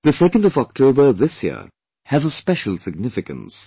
The 2nd of October, this year, has a special significance